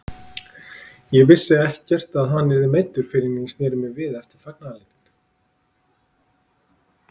Ég vissi ekkert að hann var meiddur fyrr en ég sneri mér við eftir fagnaðarlætin.